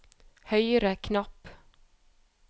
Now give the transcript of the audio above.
høyre knapp